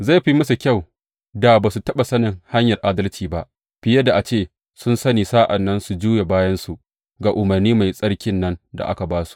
Zai fi musu kyau da ba su taɓa sanin hanyar adalci ba, fiye da a ce sun sani sa’an nan su juya bayansu ga umarni mai tsarkin nan da aka ba su.